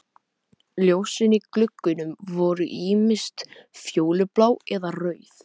Ljósin í gluggunum voru ýmist fjólublá eða rauð.